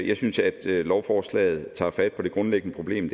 jeg synes at lovforslaget tager fat på det grundlæggende problem